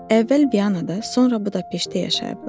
Əvvəl Vyanada, sonra Budaqpeşdə yaşayıblar.